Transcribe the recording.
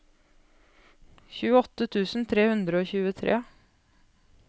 tjueåtte tusen tre hundre og tjuetre